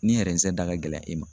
Ni da ka gɛlɛn e ma.